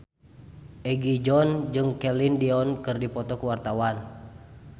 Egi John jeung Celine Dion keur dipoto ku wartawan